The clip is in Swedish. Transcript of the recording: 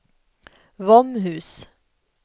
Våmhus